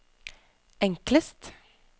enklest